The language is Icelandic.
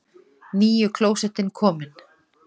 NÝJU KLÓSETTIN KOMIN!